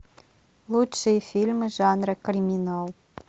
лучшие фильмы жанра криминал